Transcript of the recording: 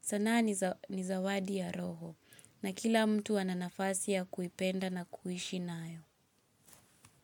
Sanaa ni zawadi ya roho na kila mtu ananafasi ya kuipenda na kuishi nayo.